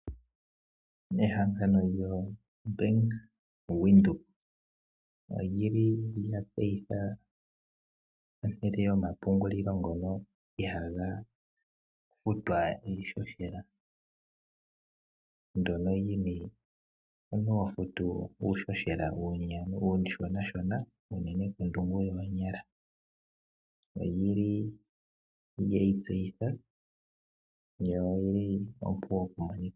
Ehangano lyoBank Windhoek olya tseyitha ehala lyomapungulilo ndyono ihali futwa iihohela ndyoka omuntu ho futu uuhohela uushonshona, unene kondungu yoonyala. Olyi li lye yi tseyitha yo oyi li ompu oku monika.